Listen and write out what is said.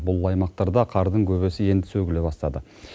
бұл аймақтарда қардың көбесі енді сөгіле бастады